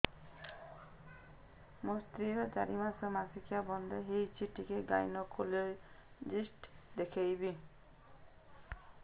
ମୋ ସ୍ତ୍ରୀ ର ଚାରି ମାସ ମାସିକିଆ ବନ୍ଦ ହେଇଛି ଟିକେ ଗାଇନେକୋଲୋଜିଷ୍ଟ ଦେଖେଇବି